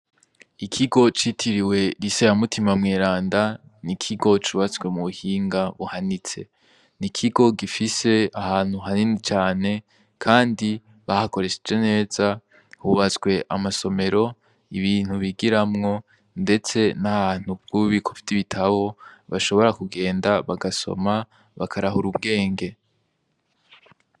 Ikigo citiriwe rise ya mutima mwiranda, ni ikigo cubatswe mu buhinga buhanitse, ni ikigo gifise ahantu hanini cane, kandi bahakoresheje neza hubatswe amasomero ibintu bigiramwo, ndetse n'ahantu bw'ubikovy'ibitabo bashobora kugenda bagasoma bakarahura ubwenge.